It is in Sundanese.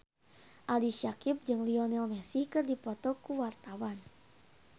Ali Syakieb jeung Lionel Messi keur dipoto ku wartawan